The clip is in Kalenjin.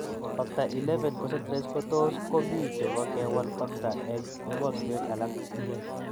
Factor XI concentrates kotos ko mi che po kewal factor eng' emotunwek alak.